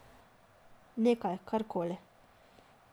Nekaj, karkoli.